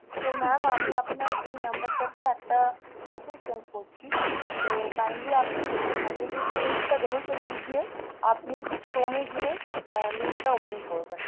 তো mam আমি আপনার এই number টাতে একটা message send করছি kindly আপনি সেই message এর যে link টা দেবো সেই link দিয়ে আপনি chrome গিয়ে আহ link টা open করবেন।